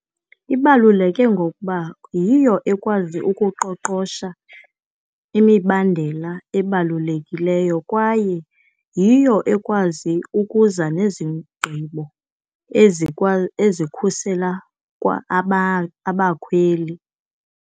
Ibaluleke ngokuba yiyo ekwazi ukuqoqosha imibandela ebalulekileyo, kwaye yiyo ekwazi ukuza nezigqibo ezikhusela kwa abakhweli.